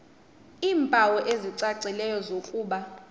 iimpawu ezicacileyo zokuba